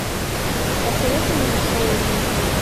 посоветуй мне шоу рим